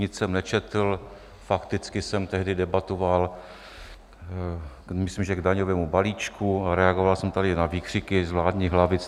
Nic jsem nečetl, fakticky jsem tehdy debatoval, myslím, že k daňovému balíčku, a reagoval jsem tady na výkřiky z vládních lavic: